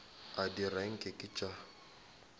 a dira nke ke tša